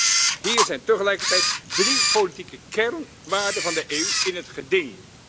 Nee, hier zijn tegelijkertijd drie politieke kernwaarden van de EU in het geding.